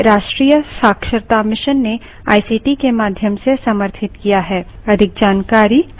जिसे राष्ट्रीय शिक्षा mission ने आईसीटी के माध्यम से समर्थित किया है